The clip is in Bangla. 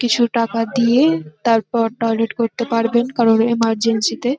কিছু টাকা দিয়ে তারপর টয়লেট করতে পারবেন কারণ ইমারজেন্সি -তে--